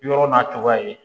Yɔrɔ n'a cogoya ye